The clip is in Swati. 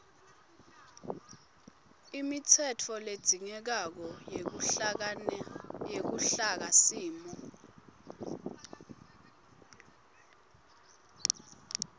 imitsetfo ledzingekako yeluhlakasimo